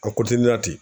A